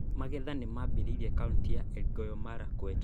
Magetha nĩmambĩtie kauntĩ ya Elgeyo Marakwet